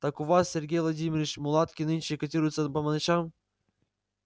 так у вас сергей владимирович мулатки нынче котируются по ночам